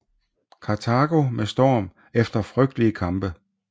Karthago med storm efter frygtelige kampe